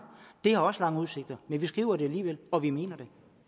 det har også lange udsigter men vi skriver det alligevel og vi mener